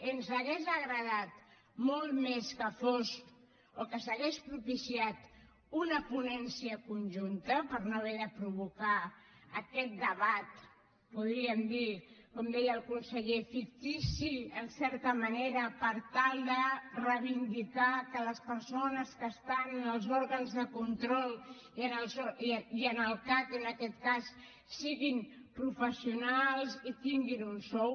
ens hauria agradat molt més que fos o que s’hagués propiciat una ponència conjunta per no haver de provocar aquest debat podríem dir com deia el conseller fictici en certa manera per tal de reivindicar que les persones que estan en els òrgans de control i en el cac en aquest cas siguin professionals i tinguin un sou